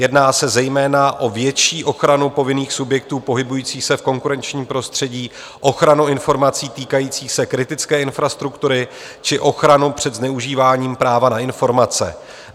Jedná se zejména o větší ochranu povinných subjektů pohybující se v konkurenčním prostředí, ochranu informací týkající se kritické infrastruktury či ochranu před zneužíváním práva na informace.